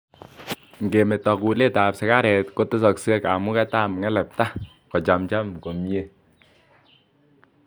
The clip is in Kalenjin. ngemeto kulet ab sigaret kotesaksei kamuget ab ngelepta ko chamjam komyee